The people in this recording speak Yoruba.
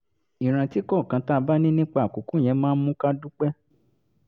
ìrántí kọ̀ọ̀kan tá a bá ní nípa àkókò yẹn máa ń mú ká dúpẹ́